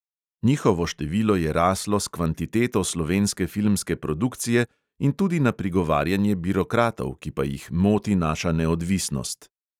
Njihovo število je raslo s kvantiteto slovenske filmske produkcije in tudi na prigovarjanje birokratov, ki pa jih moti naša neodvisnost.